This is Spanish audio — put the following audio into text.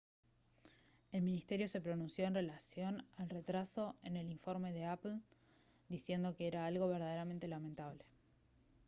el ministerio se pronunció en relación al retraso en el informe de apple diciendo que era algo «verdaderamente lamentable»